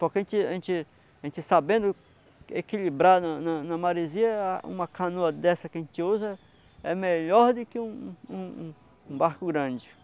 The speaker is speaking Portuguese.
Porque a gente a gente a gente sabendo equilibrar na na na Marizia uma canoa dessa que a gente usa é melhor do que um um um barco grande.